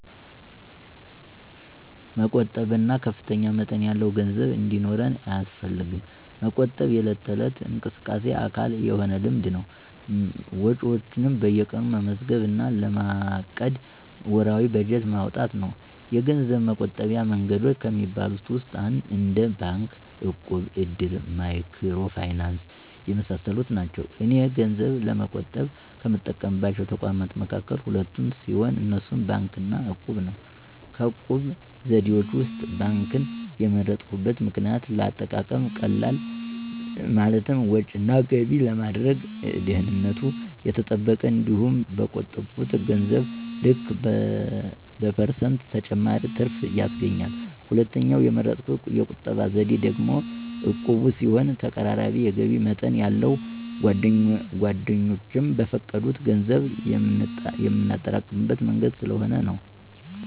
መቆጠብ ከፍተኛ መጠን ያለው ገንዘብ እንዲኖር አያስፈልግም። መቆጠብ የዕለት ተዕለት እንቅስቃሴ አካል የሆነ ልምድ ነው። ወጪዎችዎን በየቀኑ መመዝገብ እና ለማቀድ ወርሃዊ በጀት ማውጣት ነው። የገንዘብ መቆጠቢያ መንገዶች ከሚባሉት ውስጥ እንደ ባንክ፣ እቁብ፣ እድር፣ ማይክሮ ፋይናንስ የመሳሰሉት ናቸው። እኔ ገንዘብ ለመቆጠብ ከምጠቀምባቸው ተቋማት መካከል ሁለቱን ሲሆን፣ እነሱም ባንክ እና እቁብን ነው። ከቁጠባ ዘዴዎች ውስጥ ባንክን የመረጥኩበት ምክንያት ለአጠቃቀም ቀላል፣ ማለትም ወጭ እና ገቢ ለማድረግ፣ ደህንነቱ የተጠበቀ፣ እንዲሁም በቆጠብሁት ገንዘብ ልክ በፐርሰንት ተጨማሪ ትርፍ ያስገኛል። ሁለተኛው የመረጥሁት የቁጠባ ዘዴ ደግሞ ዕቁብ ሲሆን ተቀራራቢ የገቢ መጠን ያለን ጓደኛሞች በፈቃደኝነት ገንዘብ የምናጠራቅምበት መንገድ ስለሆነ ነው።